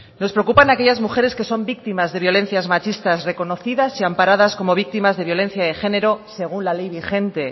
nos preocupan aquellas mujeres que son víctimas de violencias machistas reconocidas y amparadas como víctimas de violencia de género según la ley vigente